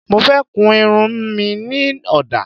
Mo fẹ́ kun irun mi ní ọ̀dà